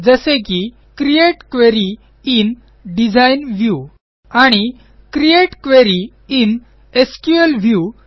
जसे की create query in design view आणि create query in SQL view